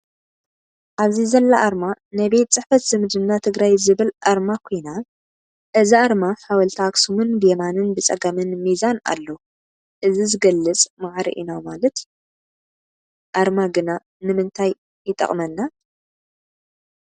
ኣብዚ ዘላ ኣርማ ናይ ቤት ፅሕፈት ዝምድና ትግራይ ዝብል ኣርማ ኮይና እዛ ኣርማ ሓወልቲ ኣክሱምን ብየማንን ብፀጋምን ሚዛን ኣሎ እዚ ዝገልፅ ማዕረ ኢና ማለት እዩ። ኣርማ ግና ንምታይ ይጠቅመና ?